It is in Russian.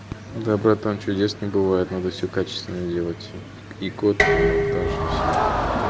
да братан чудес не бывает надо всё качественно делать и код и монтаж и всё